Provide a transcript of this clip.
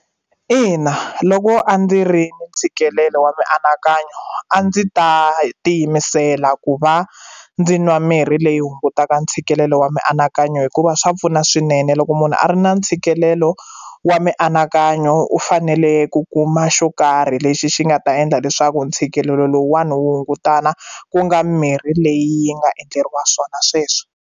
Ina, loko a ndzi ri na ntshikelelo wa mianakanyo a ndzi ta tiyimisela ku va ndzi nwa mirhi leyi hungutaka ntshikelelo wa mianakanyo hikuva swa pfuna swinene loko munhu a ri na ntshikelelo wa mianakanyo u fanele ku kuma xo karhi lexi xi nga ta endla leswaku ntshikelelo lowuwani wu hungutana ku nga mirhi leyi yi nga endleriwa swona sweswo.